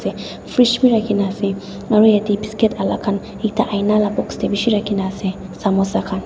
fridge bi rakhina ase aru yate biscuit alak ekta ina la box te bishi rakhina ase samosa khan.